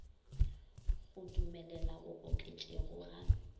go dumelela go oketšego ga